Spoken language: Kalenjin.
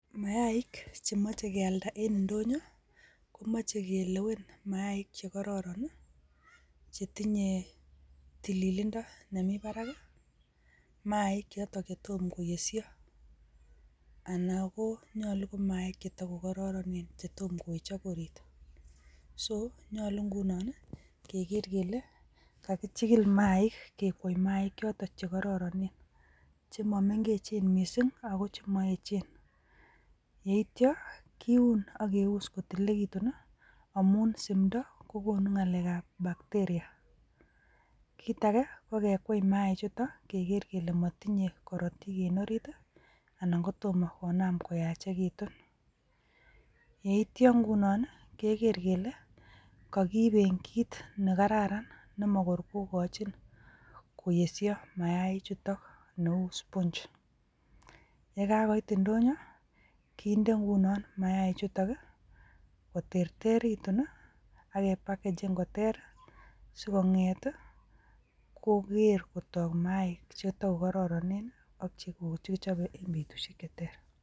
Mayaik chemoche kealdaa en indonyoo komoche kelewen maik chekororon chetinye tililindo nemi barak. Maik chetomkoyesyoo anan ko maik chetokororonen chetomkowechok oriit. So nyolu ngunon kegeer kele kakichigil maik, kekwoi maik chotok chekororonen chemomengechen missing, ako chemoechen. Yeityoo kiun ak keus kotililekitun i,amun simdoo kokonu ngalekab bacteria. Kitage konyolu kekwai imaanik keger kele motinye kirootik en oriit anan kotom konaam koyachekitun. Yeityoo ingunon kegeer kele kakiiben kit nekararan nemakor kokochin koyeshok mainichutok, kit nelulus. Yekakoit indonyoo kinder ingunon maichutok koterteritun ak kepakechen koter sikongeet i koger kotook mainik chetokororonen ak chekikichobe en betusiek cheter.